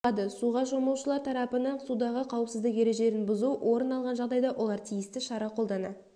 болады суға шомылушылар тарапынан судағы қауіпсіздік ережелерін бұзу орын алған жағдайда олар тиісті шара қолдана